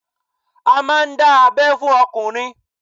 A máà ń dá abẹ́ fún ọkùnrin